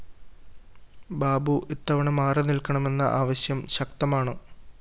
ബാബു ഇത്തവണ മാറിനില്‍ക്കണമെന്ന ആവശ്യം ശക്തമാണ്